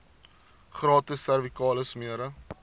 gratis servikale smere